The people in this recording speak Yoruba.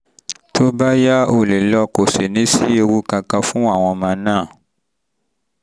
tó bá yá o lè lọ kò sì ní sí ewu kankan fún àwọn ọmọ náà